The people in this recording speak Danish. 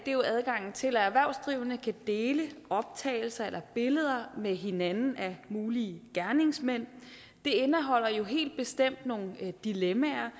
er jo adgangen til at erhvervsdrivende kan dele optagelser eller billeder med hinanden af mulige gerningsmænd det indeholder helt bestemt nogle dilemmaer